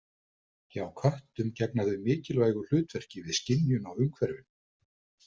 Hjá köttum gegna þau mikilvægu hlutverki við skynjun á umhverfinu.